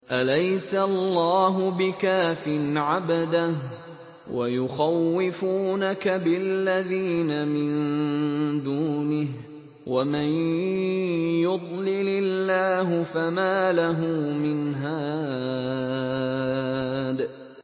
أَلَيْسَ اللَّهُ بِكَافٍ عَبْدَهُ ۖ وَيُخَوِّفُونَكَ بِالَّذِينَ مِن دُونِهِ ۚ وَمَن يُضْلِلِ اللَّهُ فَمَا لَهُ مِنْ هَادٍ